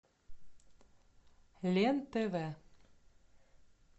лен тв